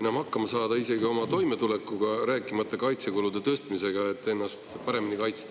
enam hakkama isegi oma toimetulekuga, rääkimata kaitsekulude tõstmisest, et ennast paremini kaitsta.